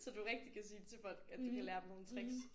Så du rigtig kan sige til folk at du kan lære dem nogle tricks